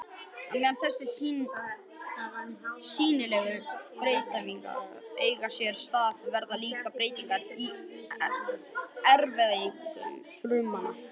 Á meðan þessar sýnilegu breytingar eiga sér stað verða líka breytingar í erfðaefni frumanna.